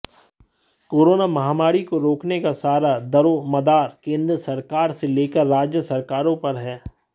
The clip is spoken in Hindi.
कोरोना महामारी को रोकने का सारा दरोमदार केंद्र सरकार से लेकर राज्य सरकारों पर है